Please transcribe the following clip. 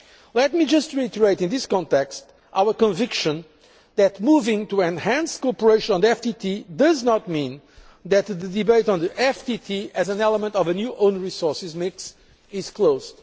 Let me just reiterate in this context our conviction that moving to enhanced cooperation on the FTT does not mean that the debate on the FTT as an element of a new own resources mix is closed.